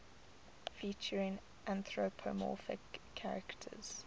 featuring anthropomorphic characters